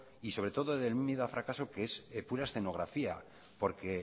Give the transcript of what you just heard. y sobre todo de un miedo al fracaso que es pura escenografía porque